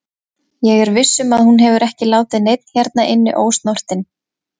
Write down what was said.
Ég er viss um að hún hefur ekki látið neinn hérna inni ósnortinn.